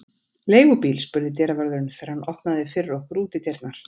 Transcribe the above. Leigubíl? spurði dyravörðurinn, þegar hann opnaði fyrir okkur útidyrnar.